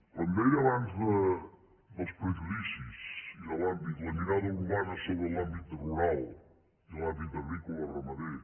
quan deia abans dels prejudicis i la mirada urbana sobre l’àmbit rural i l’àmbit agrícola o ramader